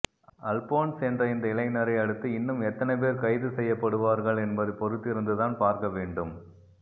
அல்போன்ஸ் என்ற இந்த இளைஞரை அடுத்து இன்னும் எத்தனை பேர் கைது செய்யப்படுவார்கள் என்பதை பொறுத்திருந்து தான் பார்க்க வேண்டும்